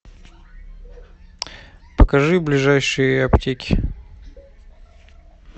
покажи ближайшие аптеки